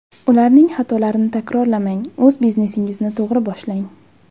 Ularning xatolarini takrorlamang, o‘z biznesingizni to‘g‘ri boshlang!